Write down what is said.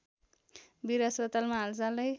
बीर अस्पतालमा हालसालै